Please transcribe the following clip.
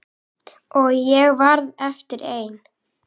Og ég varð eftir ein.